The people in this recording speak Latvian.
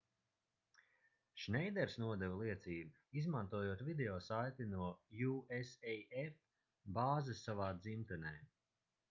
šneiders nodeva liecību izmantojot video saiti no usaf bāzes savā dzimtenē